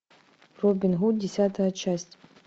робин гуд десятая часть